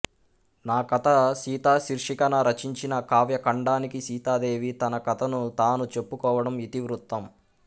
నా కథ సీత శీర్షికన రచించిన కావ్యఖండానికి సీతాదేవి తన కథను తాను చెప్పుకోవడం ఇతివృత్తం